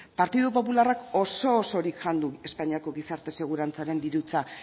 partidu popularrak oso osorik jan du espainiako gizarte segurantzaren dirutza